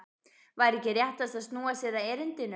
Væri ekki réttast að snúa sér að erindinu?